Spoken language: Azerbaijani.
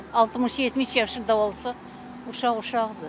60-70 yaşında olsa, uşaq uşaqdır da.